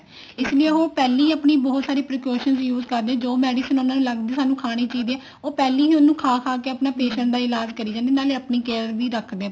ਇਸ ਲਈ ਉਹ ਪਹਿਲਾਂ ਹੀ ਆਪਣੀ ਬਹੁਤ ਸਾਰੀ precaution use ਕਰਦੇ ਆ ਜੋ medicine ਲੱਗਦੀ ਆ ਖਾਣੀ ਚਾਹੀਦੀ ਆ ਉਹ ਪਹਿਲਾਂ ਹੀ ਉਹਨੂੰ ਖਾ ਖਾ ਕੇ ਆਪਣਾ patient ਦਾ ਇਲਾਜ ਕਰੀ ਜਾਂਦੇ ਆ ਨਾਲੇ ਆਪਣੀ care ਵੀ ਰੱਖਦੇ ਆ